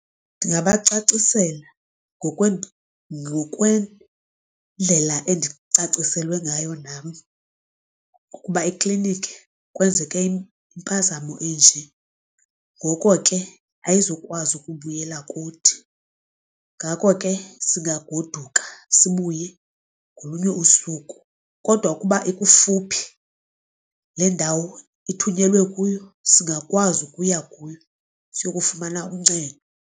Ndingabacacisela ngokwendlela endicaciselwe ngayo nam ukuba eklinikhi kwenzeke impazamo enje ngoko ke ayizukwazi ukubuyela kuthi. Ngako ke singagoduka sibuye ngolunye usuku, kodwa ukuba ikufuphi le ndawo ithunyelwe kuyo singakwazi ukuya kuyo siye kufumana uncedo.